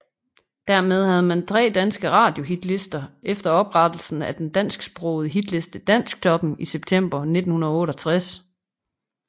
Dermed havde man tre danske radiohitlister efter oprettelsen af den dansksprogede hitliste Dansktoppen i september 1968